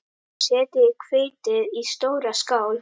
Setjið hveitið í stóra skál.